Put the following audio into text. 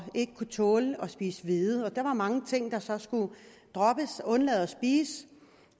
ikke kunne tåle at spise hvede og der var mange ting der så skulle droppes undlade at spise